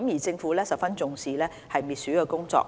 政府一直十分重視滅鼠工作。